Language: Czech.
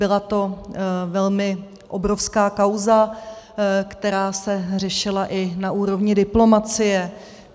Byla to velmi obrovská kauza, která se řešila i na úrovni diplomacie.